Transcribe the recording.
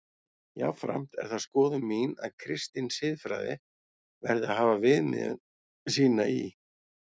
Jafnframt er það skoðun mín að kristin siðfræði verði að hafa viðmiðun sína í